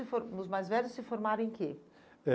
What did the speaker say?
E o mais velhos se formaram em que? Eh